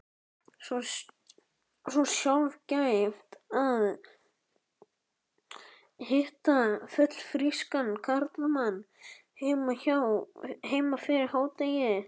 Svo sjaldgæft að hitta fullfrískan karlmann heima fyrir hádegi.